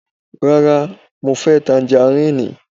Rárá, mo fẹ́ tangaríìnì.